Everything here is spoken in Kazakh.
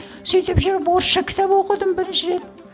сөйтіп жүріп орысша кітап оқыдым бірінші рет